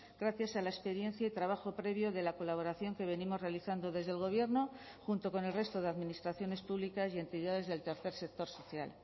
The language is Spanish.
gracias a la experiencia y trabajo previo de la colaboración que venimos realizando desde el gobierno junto con el resto de administraciones públicas y entidades del tercer sector social